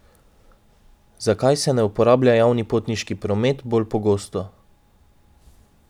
Zakaj se ne uporablja javni potniški promet bolj pogosto?